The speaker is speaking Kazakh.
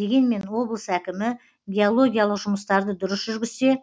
дегенмен облыс әкімі геологиялық жұмыстарды дұрыс жүргізсе